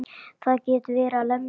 Það getur verið að lemja.